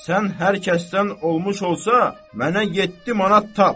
Sən hər kəsdən olmuş olsa, mənə yeddi manat tap.